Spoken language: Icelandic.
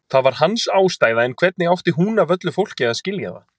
Það var hans ástæða en hvernig átti hún af öllu fólki að skilja það?